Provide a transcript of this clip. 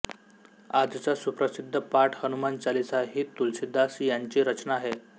आजचा सुप्रसिद्ध पाठ हनुमान चालीसा ही तुलसीदास यांची रचना आहे